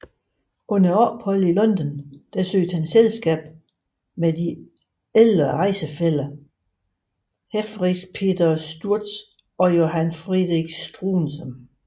Under opholdet i London søgte han selskab med de ældre rejsefæller Helferich Peter Sturz og Johann Friedrich Struensee